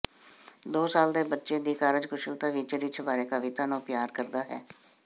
ਦੋ ਸਾਲ ਦੇ ਬੱਚੇ ਦੀ ਕਾਰਜਕੁਸ਼ਲਤਾ ਵਿੱਚ ਰਿੱਛ ਬਾਰੇ ਕਵਿਤਾ ਨੂੰ ਪਿਆਰ ਕਰਦਾ ਹੈ